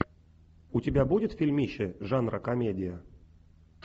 у тебя будет фильмище жанра комедия